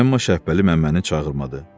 Amma Şəbbəli Məmməni çağırmadı.